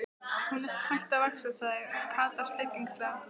Hún er hætt að vaxa! sagði Kata spekings- lega.